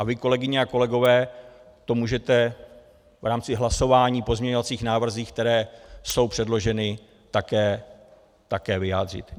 A vy, kolegyně a kolegové, to můžete v rámci hlasování o pozměňovacích návrzích, které jsou předloženy, také vyjádřit.